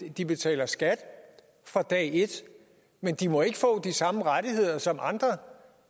at de betaler skat fra dag et men de må ikke få de samme rettigheder som andre